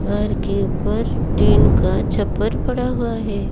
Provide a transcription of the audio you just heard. घर के ऊपर टीन का छप्पर पड़ा हुआ है।